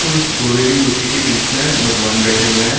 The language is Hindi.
उस घोड़े की मूर्ति के बीच में भगवान बैठे हुए हैं।